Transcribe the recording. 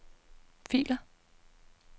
filer